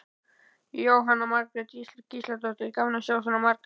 Jóhanna Margrét Gísladóttir: Gaman að sjá svona marga?